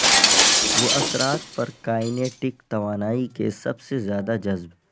وہ اثرات پر کائنےٹک توانائی کے سب سے زیادہ جذب